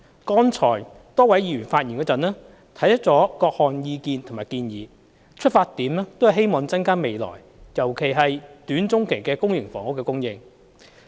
剛才多位議員發言時，提出了各項意見和建議，出發點都是希望增加未來，尤其是短中期的公營房屋供應。